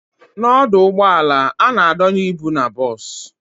N'ọdụ ụgbọala, a na-adonye ịbụ n'bos